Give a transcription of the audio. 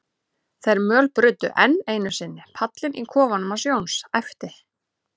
þeir mölbrutu enn einu sinni pallinn í kofanum hans Jóns, æpti